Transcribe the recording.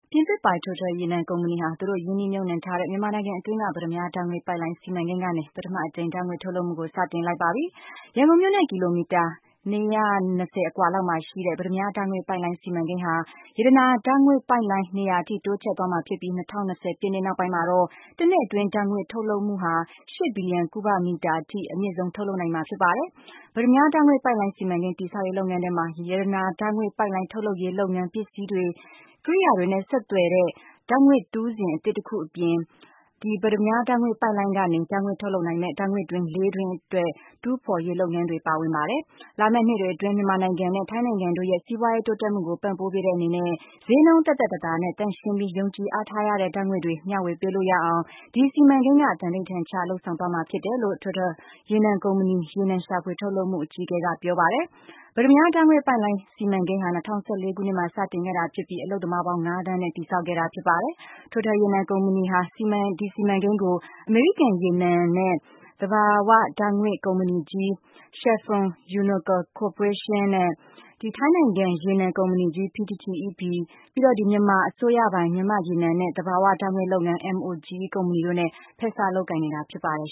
ပြင်သစ်ပိုင် Total ရေနံ ကုမ္ပဏီဟာ သူတို့ရင်းနှီးမြုပ်နှံထားတဲ့ မြန်မာနိုင်ငံအတွင်းက ပတ္တမြားဓာတ်ငွေ့ပိုက်လိုင်း စီမံကိန်း ကနေ ပထမအကြိမ် ဓာတ်ငွေ့ ထုတ်လုပ်မှုကို စတင်လိုက်ပါပြီ။ ရန်ကုန်မြို့နဲ့ ကီလိုမီတာ ၂၂၀ အကွာလောက်မှာရှိတဲ့ ပတ္တမြား ဓာတ်ငွေ့ပိုက်လိုင်း စီမံကိန်းဟာ ရတနာ ဓာတ်ငွေ့ပိုက်လိုင်း နေရာအထိ တိုးချဲ့သွားမှာဖြစ်ပြီး ၂၀၂၀ ပြည့်နှစ်နောက်ပိုင်းမှာတော့ တစ်နှစ်အတွင်း ဓာတ်ငွေ့ထုတ်လုပ်မှုဟာ ၈ ဘီလီယံ ကုဗမီတာ အထိ အမြင့်ဆုံး ထုတ်လုပ်နိုင်မှာ ဖြစ်ပါတယ်။ ပတ္တမြား ဓာတ်ငွေ့ပိုက်လိုင်းစီမံကိန်း တည်ဆောက်ရေး လုပ်ငန်းထဲမှာ ရတနာ ဓာတ်ငွေ့ ပိုက်လိုင်း ထုတ်လုပ်ရေးလုပ်ငန်း၊ ပစ္စည်းတွေ ကိရိယာတွေနဲ့ ဆက်သွယ်တဲ့ ဓာတ်ငွေ့တူးစင် အသစ်တခုအပြင် ပတ္တမြား ဓာတ်ငွေ့ ပိုက်လိုင်းကနေ ဓာတ်ငွေ့ထုတ်လုပ်နိုင်မယ့် ဓာတ်ငွေ့တွင်း ၄ တွင်း အတွက် တူးဖော်ရေး လုပ်ငန်းတွေပါဝင်ပါတယ်။ လာမယ့်နှစ်တွေအတွင်း မြန်မာနိုင်ငံနဲ့ ထိုင်းနိုင်ငံတို့ရဲ့ စီးပွားရေး တိုးတက်မှုကို ပံ့ပိုးပေးတဲ့အနေနဲ့ ဈေးနှုန်းသက်သက်သာသာနဲ့ သန့်ရှင်းပြီး ယုံကြည်အားထားရတဲ့ ဓာတ်ငွေ့တွေ မျှဝေပေးလို့ရအောင် ဒီစီမံကိန်းက သံဓိဌာန်ချ လုပ်ဆောင်သွားမှာဖြစ်တယ်လို့ Total ရေနံကုမ္ပဏီ ရေနံရှာဖွေထုတ်လုပ်မှု အကြီးအကဲ ကပြောပါတယ်။ ပတ္တမြား ဓာတ်ငွေ့ ပိုက်လိုင်း စီမံကိန်း ဟာ ၂၀၁၄ ခုနှစ်မှာ စတင်ခဲ့တာဖြစ်ပြီး အလုပ်သမားပေါင်း ၅ သန်းနဲ့ တည်ဆောက်ခဲ့တာ ဖြစ်ပါတယ်။ Total ရေနံကုမ္ပဏီဟာ ဒီစီမံကိန်းကို အမေရိကန်ရေနံနဲ့ သဘာဝဓာတ်ငွေ့ ကုမ္ပဏီကြီး Chevron-Unocal ကော်ပိုရေးရှင်း၊ ထိုင်းနိုင်ငံ ရေနံကုမ္ပဏီကြီး - PTTEP၊ မြန်မာအစိုးရပိုင် မြန်မာ့ရေနံနဲ့ သဘာဝဓာတ်ငွေ့လုပ်ငန်း- MOGE ကုမ္ဗဏီ တို့နဲ့ ဖက်စပ်လုပ်ကိုင်နေတာ ဖြစ်ပါတယ်